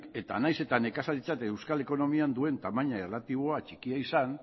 eta nahiz eta nekazaritza eta euskal ekonomian duen tamaina erlatiboa txikia izan